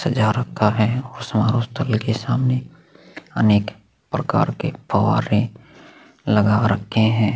सजा रखा है और समारोह स्थल के सामने अनेक प्रकार के फव्वारे लगा रखे है।